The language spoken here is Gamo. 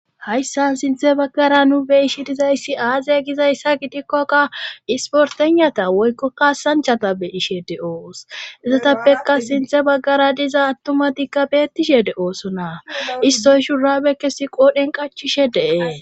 hayssan sinthe baggara nu beyishi dizayssi aaze gizayssa gidikkoka isportenata woykkokkaasanchata beyishe de7oos izotappeka sinthe baggara diza attumatikka beettishe de7ooso na istoy shurabekkesi qoodhen qachishe dee